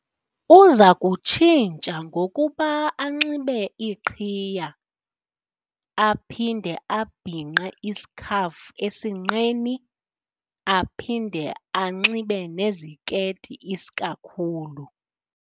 Uza kutshintsha ngokuba anxibe iqhiya, aphinde abhinqe isikhafu esinqeni, aphinde anxibe nezikeyiti isikakhulu.